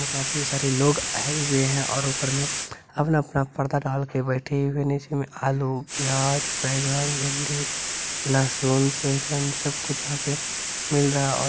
और काफी सारे लोग आये हुए है और ऊपर मे अपना-अपना परदा डाल के बैठे हुए नीचे मे आलु प्याज बैंगन भिंडी लहसुन सोएहजन सब कुछ यहां पे मिल रहा है और --